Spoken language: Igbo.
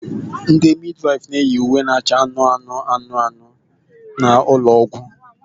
Ndị midwife na-eyi uwe na-acha anụnụ anụnụ n'ụlọ ọgwụ.